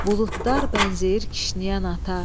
Buludlar bənzəyir kişniyən ata.